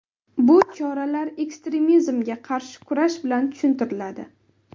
Bu choralar ekstremizmga qarshi kurash bilan tushuntiriladi.